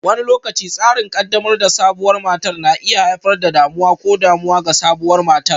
Wani lokaci, tsarin ƙaddamar da sabuwar matar na iya haifar da damuwa ko damuwa ga sabuwar matar.